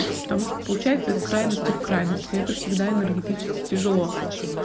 потому что получается из крайности в крайность и это всегда энергетически тяжело